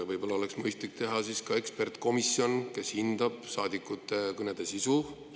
Võib-olla oleks mõistlik teha ekspertkomisjon, kes hindab saadikute kõnede sisu?